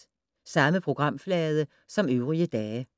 Samme programflade som øvrige dage